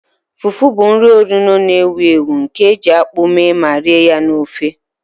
Fufu bụ nri onuno na-ewu ewu nke e ji akpu mee ma rie ya na ofe